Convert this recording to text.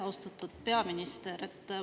Austatud peaminister!